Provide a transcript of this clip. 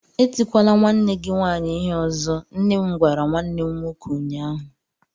Etikwala nwanne gị nwanyị ịhe ọzọ! nnem gwara nwannem nwoke ụnyaahụ.